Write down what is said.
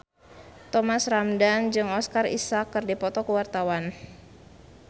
Thomas Ramdhan jeung Oscar Isaac keur dipoto ku wartawan